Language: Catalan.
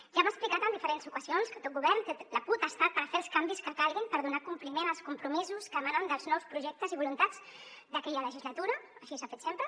ja hem explicat en diferents ocasions que tot govern té la potestat per fer els canvis que calguin per donar compliment als compromisos que emanen dels nous projectes i voluntats d’aquella legislatura així s’ha fet sempre